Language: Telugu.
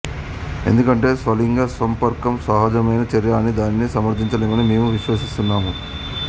ఎందుకంటే స్వలింగ సంపర్కం అసహజమైన చర్య అని దానిని సమర్ధించలేమని మేము విశ్వసిస్తున్నాము